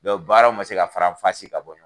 Dɔnku baaraw ma se ka faranfasi ka bɔ